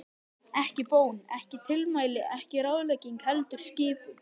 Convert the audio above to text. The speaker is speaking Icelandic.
Ekki bón, ekki tilmæli, ekki ráðlegging, heldur skipun.